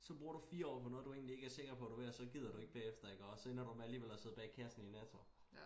Så bruger du 4 år på noget du egentlig ikke er sikker på du vil også gider du ikke bagefter iggå så ender du med alligevel at sidde bag kassen i Netto